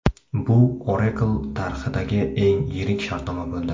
Bu Oracle tarixidagi eng yirik shartnoma bo‘ldi.